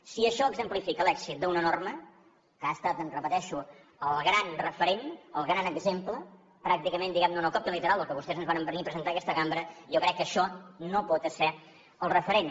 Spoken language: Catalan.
si això exemplifica l’èxit d’una norma que ha estat ho repeteixo el gran referent el gran exemple pràcticament diguem ne una còpia literal del que vostès ens varen venir a presentar a aquesta cambra jo crec que això no pot esser el referent